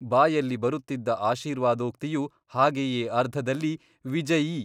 ಬಾಯಲ್ಲಿ ಬರುತ್ತಿದ್ದ ಆಶೀರ್ವಾದೋಕ್ತಿಯೂ ಹಾಗೆಯೇ ಅರ್ಧದಲ್ಲಿ ವಿಜಯೀ....